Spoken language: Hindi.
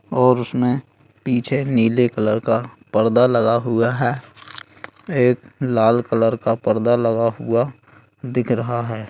और उसमें पीछे नीले कलर का पर्दा लगा हुआ है एक लाल कलर का पर्दा लगा हुआ दिख रहा है।